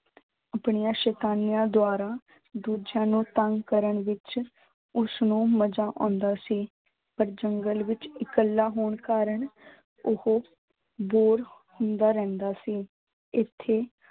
ਆਪਣੀਆਂ ਸੈਤਾਨੀਆਂ ਦੁਆਰਾ ਦੂਜਿਆਂ ਨੂੰ ਤੰਗ ਕਰਨ ਵਿੱਚ ਉਸਨੂੰ ਮਜ਼ਾ ਆਉਂਦਾ ਸੀ, ਪਰ ਜੰਗਲ ਵਿੱਚ ਇਕੱਲਾ ਹੋਣ ਕਾਰਨ ਉਹ bore ਹੁੰਦਾ ਰਹਿੰਦਾ ਸੀ, ਇੱਥੇ